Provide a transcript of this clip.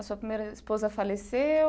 A sua primeira esposa faleceu?